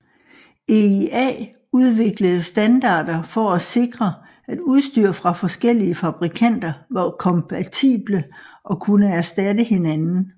EIA udviklede standarder for at at sikre at udstyr fra forskellige fabrikanter var kompatible og kunne erstatte hinanden